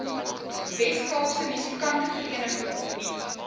weskaapse musikantevereniging opnuut